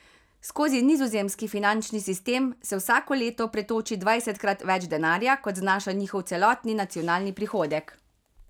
Skozi nizozemski finančni sistem se vsako leto pretoči dvajsetkrat več denarja, kot znaša njihov celotni nacionalni prihodek.